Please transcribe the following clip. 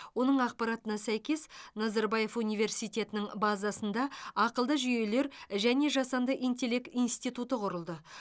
оның ақпаратына сәйкес назарбаев университетінің базасында ақылды жүйелер және жасанды интеллект институты құрылды